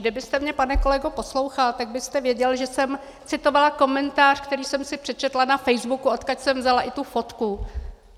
Kdybyste mě, pane kolego, poslouchal, tak byste věděl, že jsem citovala komentář, který jsem si přečetla na Facebooku, odkud jsem vzala i tu fotku.